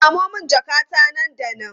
Samo min jakata nan da nan!